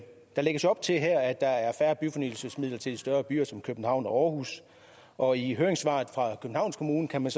der lægges op til her at der er færre byfornyelsesmidler til de større byer som københavn og aarhus og i høringssvaret fra københavns kommune kan